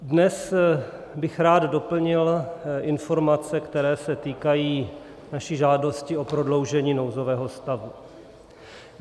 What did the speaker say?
Dnes bych rád doplnil informace, které se týkají naší žádosti o prodloužení nouzového stavu.